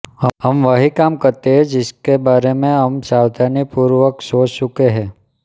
हम वही काम करे जिसके बारे हम सावधानीपुर्वक सोच चुके है